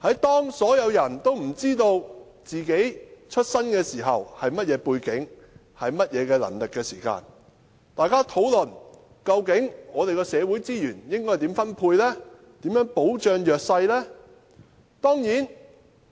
當所有人也不知道自己的出身背景和能力時，大家又怎能討論應如何分配社會資源和保障弱勢人士呢？